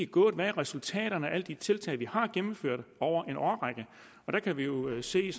gået hvad er resultaterne af alle de tiltag vi har gennemført over en årrække der kan vi jo se